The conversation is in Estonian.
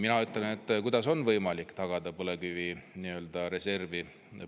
Mina ütlen, et kuidas on võimalik tagada põlevkivireservi?